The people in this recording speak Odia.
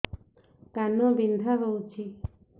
କାନ ବିନ୍ଧା ହଉଛି